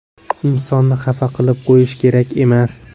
Insonni xafa qilib qo‘yish kerak emas.